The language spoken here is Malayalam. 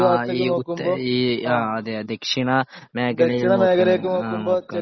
ആ ദക്ഷിണ മേഖലയിൽ